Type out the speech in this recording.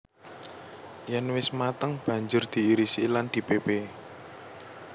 Yèn wis mateng banjur diirisi lan dipépé